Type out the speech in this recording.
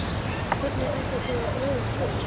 Hvernig ætlið þið að bregðast við henni?